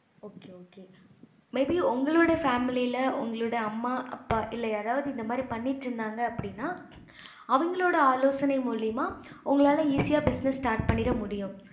okay okay may be உங்களோட family உங்களோட அம்மா அப்பா யாரவது பண்ணிட்டு இருந்தாங்க அப்படின்னா அவங்களோட ஆலோசனை மூலையுமா உங்களால easy ஆஹ் business start பண்ணிட முடியும்